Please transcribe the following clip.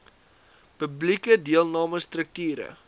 publieke deelname strukture